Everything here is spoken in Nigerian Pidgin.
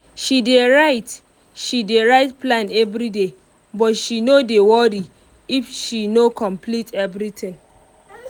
she dey write she dey write plan everyday but she no dey worry if she no complete everything